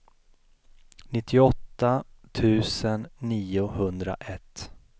nittioåtta tusen niohundraett